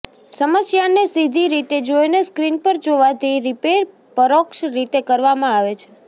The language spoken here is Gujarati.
સમસ્યાને સીધી રીતે જોઈને સ્ક્રીન પર જોવાથી રિપેર પરોક્ષ રીતે કરવામાં આવે છે